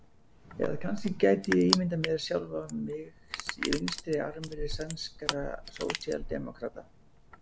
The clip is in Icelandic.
Eða kannski gæti ég ímyndað mér sjálfan mig í vinstra armi sænskra sósíaldemókrata.